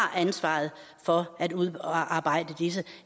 har ansvaret for at udarbejde disse